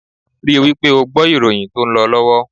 Rí wípé ó gbọ́ ìròyìn tó ń lọ lọ́wọ́!